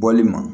Bɔli ma